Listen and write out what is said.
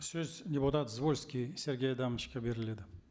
сөз депутат звольский сергей адамовичке беріледі